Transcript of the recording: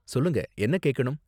சொல்லுங்க, என்ன கேக்கணும்?